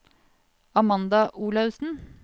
Amanda Olaussen